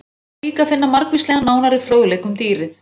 Þar er líka að finna margvíslegan nánari fróðleik um dýrið.